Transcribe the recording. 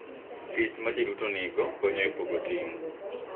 Tich ma ji duto nigo konyo e pogo ting’